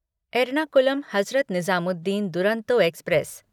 Ernakulam Hazrat Nizamuddin Duronto express